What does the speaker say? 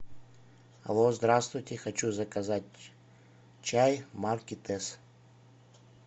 алло здравствуйте хочу заказать чай марки тесс